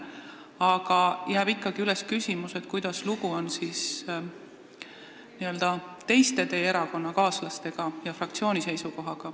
Aga ikkagi jääb küsimus, kuidas on lugu teie erakonnakaaslastega ja fraktsiooni seisukohaga.